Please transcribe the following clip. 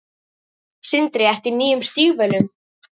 Sindri: Ertu í nýjum stígvélum?